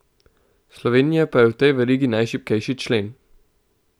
Slovenija pa je v tej verigi najšibkejši člen.